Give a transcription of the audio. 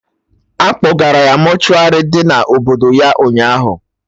Akpọgara ya mortuary dị na obodo ya, ụnyaahụ